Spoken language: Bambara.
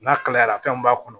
N'a kalayara fɛn min b'a kɔnɔ